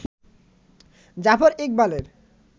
জাফর ইকবালের